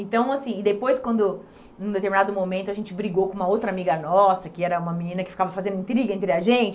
Então, assim, e depois quando, num determinado momento, a gente brigou com uma outra amiga nossa, que era uma menina que ficava fazendo intriga entre a gente.